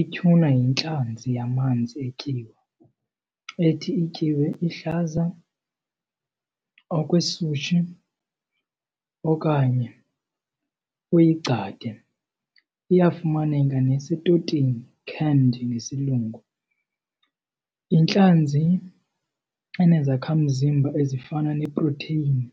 Ityhuna yintlanzi yamanzi etyiwa ethi ityiwe iluhlaza okwesushi okanye uyigcade. Iyafumaneka nasetotini, canned ngesilungu. Yintlanzi enezakhamzimba ezifana neprotheyini